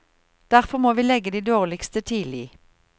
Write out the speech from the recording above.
Derfor må vi legge de dårligste tidlig.